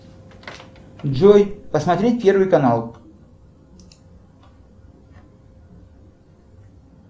джой посмотреть первый канал